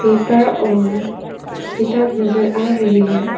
Paper और किताब नजर आ रही है।